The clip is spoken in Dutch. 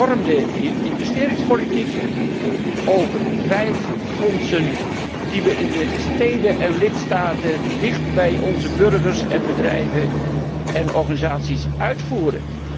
Een hervormd investeringsbeleid over vijf fondsen, die we in de steden en lidstaten dichtbij onze burgers, bedrijven en organisaties uitvoeren.